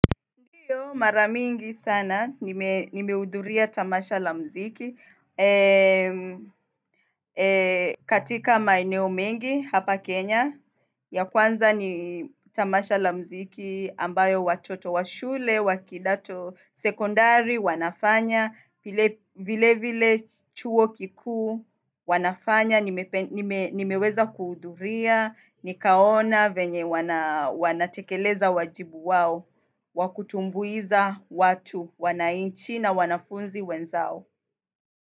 Mara mingi sana. Nimeudhuria tamasha la mziki. Katika maeneo mengi, hapa Kenya. Ya kwanza ni Tamasha la mziki ambayo watoto wa shule, wa kidato sekondari, wanafanya. Vile vile chuo kikuu wanafanya, nimeweza kuudhuria, nikaona venye wanatekeleza wajibu wao, wakutumbuiza watu wananchi na wanafunzi wenzao.